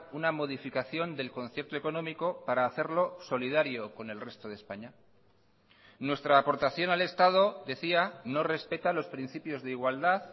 una modificación del concierto económico para hacerlo solidario con el resto de españa nuestra aportación al estado decía no respeta los principios de igualdad